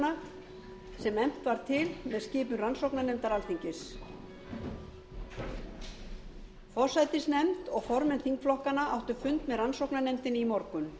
efnt var til með skipun rannsóknarnefndar alþingis forsætisnefnd og formenn þingflokkanna áttu fund með rannsóknarnefndinni í morgun